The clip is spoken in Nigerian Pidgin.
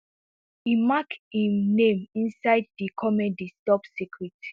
e make im name inside di comedies top secret